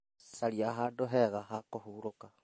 Caria handũ hega ha kũhurũka.